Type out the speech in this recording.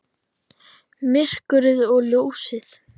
Myrkrið og ljósið.